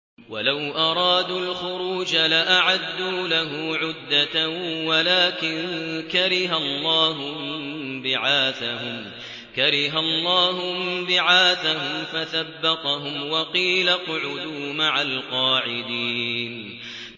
۞ وَلَوْ أَرَادُوا الْخُرُوجَ لَأَعَدُّوا لَهُ عُدَّةً وَلَٰكِن كَرِهَ اللَّهُ انبِعَاثَهُمْ فَثَبَّطَهُمْ وَقِيلَ اقْعُدُوا مَعَ الْقَاعِدِينَ